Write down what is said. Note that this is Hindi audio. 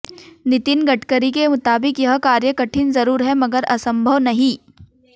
नितिन गडकरी के मुताबिक यह कार्य कठिन जरूर है मगर असंभव नहीं